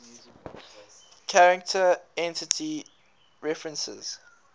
character entity references